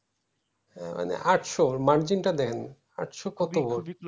আহ মানে আটশো মার্জিন টা দেখেন আটশো কত